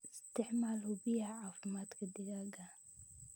Isticmaal hubiyaha caafimaadka digaaga.